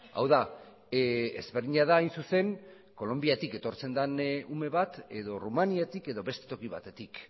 hau da ezberdina da hain zuzen kolonbiatik etortzen den ume bat edo errumaniatik edo beste toki batetik